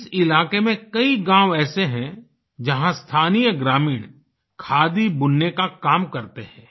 इस इलाके में कई गाँव ऐसे है जहाँ स्थानीय ग्रामीण खादी बुनने का काम करते है